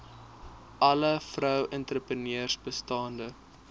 alle vroueentrepreneurs bestaande